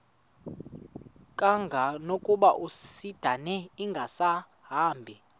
kangangokuba isindane ingasahambi